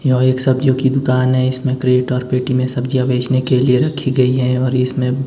यह एक सब्जियों की दुकान है। इसमें क्रेट और पेटी में सब्जियां बेचने के लिए रखी गई है और इसमें--